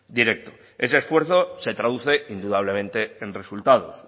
directo ese esfuerzo se traduce indudablemente en resultados